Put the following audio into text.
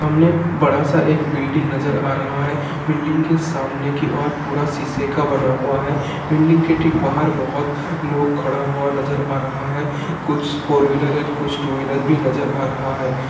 सामने बड़ा सा एक बिल्डिंग नज़र आ रहा है। बिल्डिंग के सामने की ओर पूरा शीशे का बना हुआ है। बिल्डिंग के ठीक बाहर बोहोत लोग खड़ा हुआ नज़र आ रहा है कुछ फोर व्हीलर एंड कुछ टू व्हीलर भी नज़र आ रहा है।